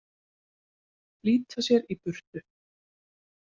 Flýta sér í burtu.